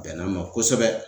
Bɛnna n ma kosɛbɛ.